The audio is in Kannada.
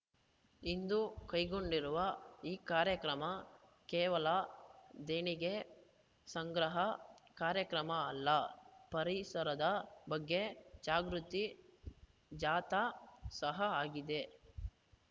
ಇಂದು ಕೈಗೊಂಡಿರುವ ಈ ಕಾರ್ಯಕ್ರಮ ಕೇವಲ ದೇಣಿಗೆ ಸಂಗ್ರಹ ಕಾರ್ಯಕ್ರಮ ಅಲ್ಲ ಪರಿಸರದ ಬಗ್ಗೆ ಜಾಗೃತಿ ಜಾಥಾ ಸಹ ಆಗಿದೆ